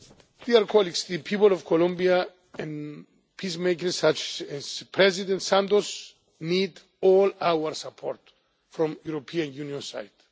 itself. The people of Colombia and peacemakers such as President Santos need all our support from the European Union